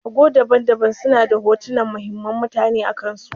Ago daban-daban suna da hotunan muhimman mutane akansu.